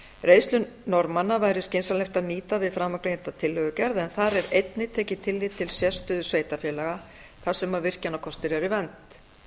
reynslu norðmanna væri skynsamlegt að nýta við framangreinda tillögugerð en þar er einnig tekið tillit til sérstöðu sveitarfélaga þar sem virkjanakostir er í vernd